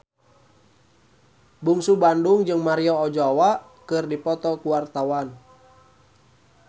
Bungsu Bandung jeung Maria Ozawa keur dipoto ku wartawan